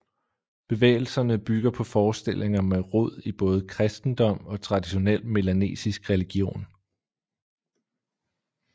Bevægelserne bygger på forestillinger med rod i både kristendom og traditionel melanesisk religion